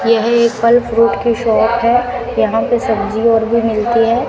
यह एक फल फ्रूट की शॉप है यहां पे सब्जी और भी मिलती हैं।